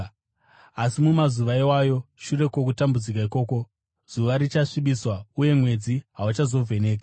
“Asi mumazuva iwayo, shure kwokutambudzika ikoko, “ ‘zuva richasvibiswa, uye mwedzi hauchazovhenekeri;